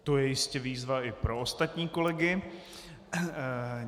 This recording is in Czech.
To je jistě výzva i pro ostatní kolegy.